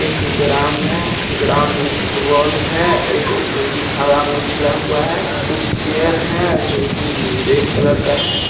एक ग्राउंड है ग्राउंड में फुटबॉल है एक जो की हवा में उछला हुआ है कुछ चेयर है जो की रेड कलर का है |